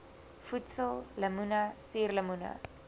voedsel lemoene suurlemoene